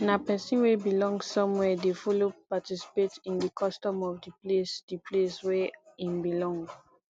na persin wey belong somewhere de follow participate in di custom of di place di place wey im belong